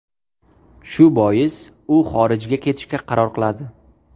Shu bois, u xorijga ketishga qaror qiladi.